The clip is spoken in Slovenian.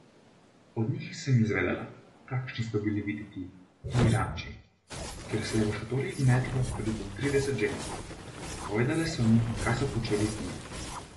Od njih sem izvedela, kakšni so bili videti ti ranči, kjer se je v šotorih gnetlo tudi po trideset žensk, povedale so mi, kaj so počeli z njimi.